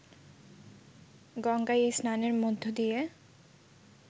গঙ্গায় এই স্নানের মধ্য দিয়ে